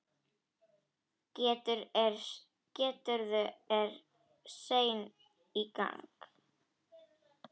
Gerður er sein í gang.